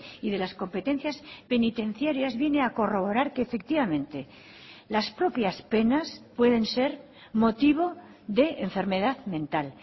y de las competencias penitenciarias viene a corroborar que efectivamente las propias penas pueden ser motivo de enfermedad mental